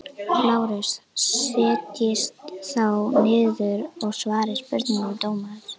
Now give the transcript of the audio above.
LÁRUS: Setjist þá niður og svarið spurningum dómarans.